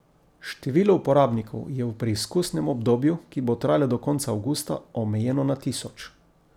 Število uporabnikov je v preizkusnem obdobju, ki bo trajalo do konca avgusta, omejeno na tisoč.